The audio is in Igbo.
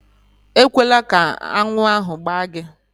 Ekwela ka aṅụ ahụ gbaa gị!